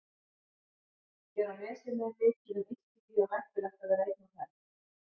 Hér á nesinu er mikið um illþýði og hættulegt að vera einn á ferð.